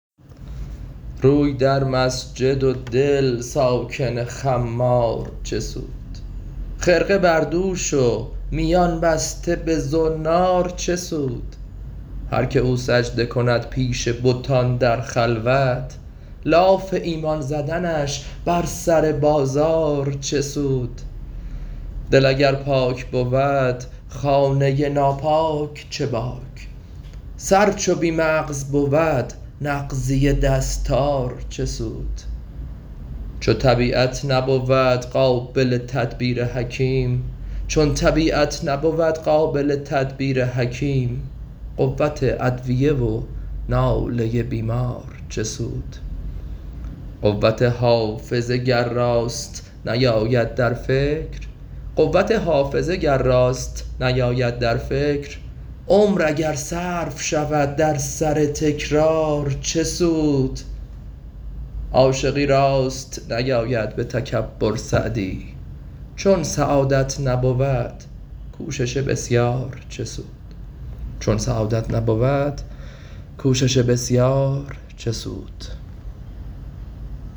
روی در مسجد و دل ساکن خمار چه سود خرقه بر دوش و میان بسته به زنار چه سود هر که او سجده کند پیش بتان در خلوت لاف ایمان زدنش بر سر بازار چه سود دل اگر پاک بود خانه ناپاک چه باک سر چو بی مغز بود نغزی دستار چه سود چون طبیعت نبود قابل تدبیر حکیم قوت ادویه و ناله بیمار چه سود قوت حافظه گر راست نیاید در فکر عمر اگر صرف شود در سر تکرار چه سود عاشقی راست نیاید به تکبر سعدی چون سعادت نبود کوشش بسیار چه سود